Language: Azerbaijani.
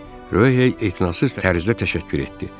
Röhey etinasız tərzdə təşəkkür etdi.